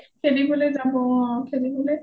অ খেলিবলে যাব অ খেলিবলে